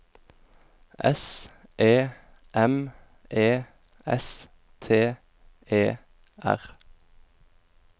S E M E S T E R